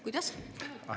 Kuidas?